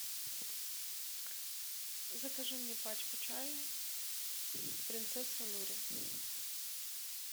закажи мне пачку чая принцесса нури